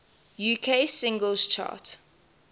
uk singles chart